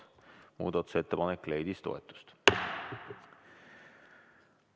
Muudatusettepanek leidis toetust.